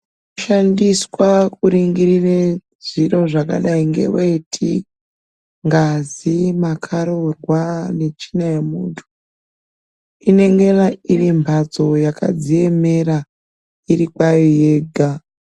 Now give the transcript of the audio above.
Kushandiswa kuringirire zviro zvakadai ngeweti, ngazi, makharurwa netsvina yemuntu inengera iri mphatstso yakadziemera ,iri kwayo yega.